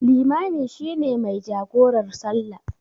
Limami shi ne mai jagorar salla.